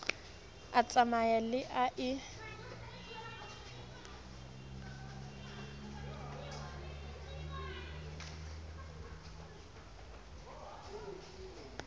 a tsamaye le a e